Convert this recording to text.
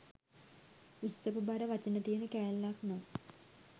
උස්සපු බර වචන තියන කෑල්ලක් නං